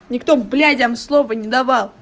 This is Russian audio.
никто блядям слова не давал